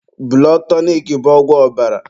Bụlọd tọnik bụ ọgwụ ọbara